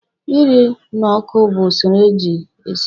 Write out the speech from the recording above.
Ịrụ n'ọkụ bụ usoro eji esi nri.